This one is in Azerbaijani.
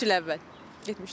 İki il əvvəl getmişdim.